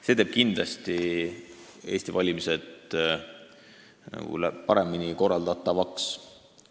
See teeb valimised Eestis kindlasti paremini korraldatavaks.